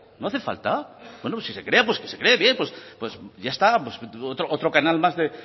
no hace falta buen o pues si se crea que se cree bien pues ya está pues otro canal más de